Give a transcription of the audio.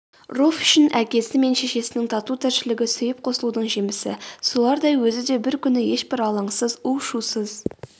руфь үшін әкесі мен шешесінің тату тіршілігі сүйіп қосылудың жемісі солардай өзі де бір күні ешбір лаңсыз у-шусыз